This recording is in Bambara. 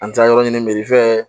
An taara yɔrɔ ɲini